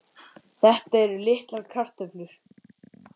Þetta eru ekki litlar kröfur.